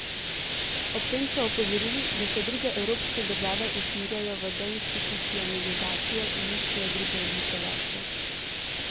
Ob tem so opozorili, da se druge evropske države usmerjajo v deinstitucionalizacijo in iščejo druge oblike varstva.